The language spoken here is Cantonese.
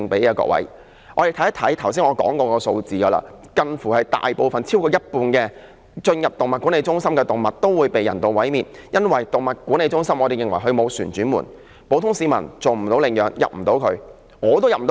我們看看剛才說過的數字，超過一半進入動物管理中心的動物都會被人道毀滅，因為我們認為動物管理中心沒有"旋轉門"，普通市民無法到那裏領養，我也無法進入。